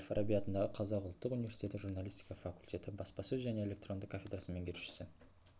әл-фараби атындағы қазақ ұлттық университеті журналистика факультеті баспасөз және электронды кафедрасының меңгерушісі